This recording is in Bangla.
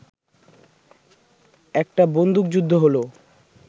একটা বন্দুকযুদ্ধ হলো